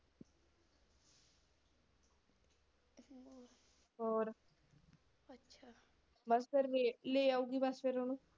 ਹੋਰ, bus ਫੇਰ ਲਿਆਉਗੀ bus ਫਿਰ ਓਹਨੂੰ।